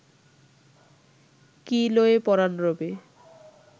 কি লয়ে পরাণ রবে